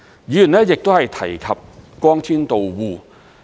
議員亦提及光纖到戶。